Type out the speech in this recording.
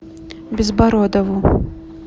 безбородову